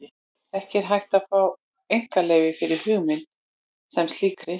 Ekki er hægt að fá einkaleyfi fyrir hugmynd sem slíkri.